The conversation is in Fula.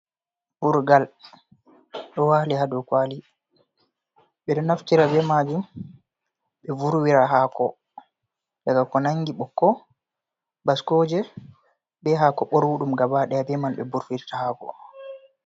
Ɓurgal ɗo wali hadow kwali ɓeɗo naftira be majum ɓe vurwira hako, daga ko nangi ɓoƙko ɓaskoje be hako ɓorwudum gabadaya be man ɓe vurwirta hako.